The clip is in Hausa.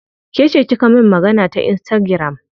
Kece kika min magana ta insitagiram?